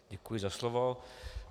Děkuji za slovo.